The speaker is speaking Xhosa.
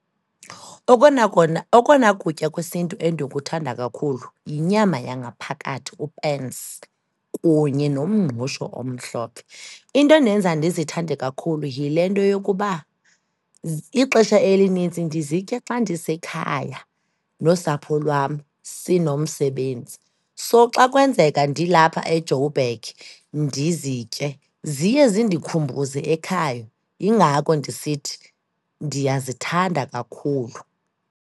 Okona kona, okona kutya kwesintu endikuthanda kakhulu yinyama yangaphakathi, upensi kunye nomngqusho omhlophe. Into endenza ndizithande kakhulu yile nto yokuba ixesha elinintsi ndizitya xa ndisekhaya nosapho lwam, sinomsebenzi. So, xa kwenzeka ndilapha eJoburg ndizitye, ziye zindikhumbuze ekhaya. Yingako ndisithi ndiyazithanda kakhulu.